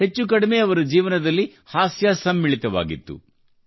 ಹೆಚ್ಚುಕಡಿಮೆ ಅವರ ಜೀವನದಲ್ಲಿ ಹಾಸ್ಯ ಸಮ್ಮಿಳಿತವಾಗಿತ್ತು